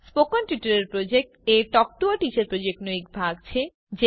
spoken tutorial project a talk to a teacher પ્રોજેક્ટનો એક ભાગ છે